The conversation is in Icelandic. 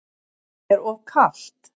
Er of kalt.